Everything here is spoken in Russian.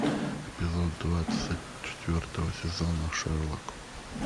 эпизод двадцать четвертого сезона шерлок